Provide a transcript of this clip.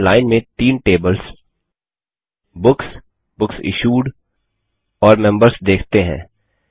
अब हम लाइन में तीन टेबल्स बुक्स बुक्स इश्यूड और मेंबर्स देखते हैं